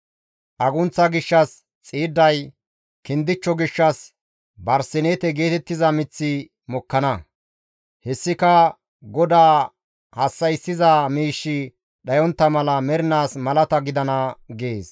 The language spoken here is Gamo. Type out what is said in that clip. Agunththa gishshas xiidday, kindichcho gishshas barsineete geetettiza miththi mokkana; hessika GODAA hassa7issiza miishshi dhayontta mala mernaas malata gidana» gees.